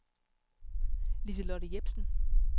Lise-Lotte Jepsen